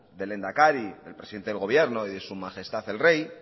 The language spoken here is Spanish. del lehendakari el presidente del gobierno y de su majestad el rey